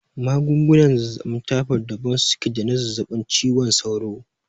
Magungunan zazzaɓin taifod daban suke da na zazzaɓin ciwon sauro